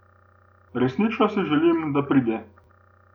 Resnično si želim, da pride.